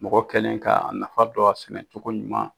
Mɔgɔ kɛlen k'a nafa dɔn a sɛnɛ cogo ɲuman